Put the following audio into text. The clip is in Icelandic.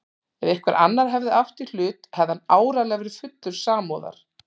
Ef einhver annar hefði átt í hlut hefði hann áreiðanlega verið fullur samúðar.